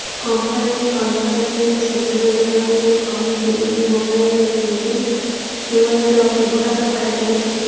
company କନଫେରେନ୍ସରେ ସୂଚନା ଦେବାକୁ ଯାଇ କହିଛି ଏହି ମୋବାଇଲରେ ସିଙ୍ଗଲ ୟୁଆଇର ବ୍ଯବହାର କରାଯାଇଛି